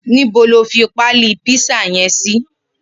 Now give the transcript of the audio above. Nibó ló fi pàlí pizza yèn si?